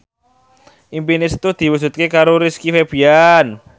impine Setu diwujudke karo Rizky Febian